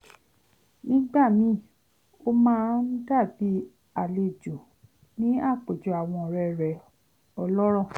nígbà míì ó máa ń dàbí àlejò ní àpèjọ àwọn ọ̀rẹ́ rẹ̀ ọlọ́rọ̀